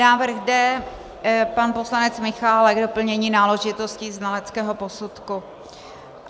Návrh D, pan poslanec Michálek, doplnění náležitostí znaleckého posudku.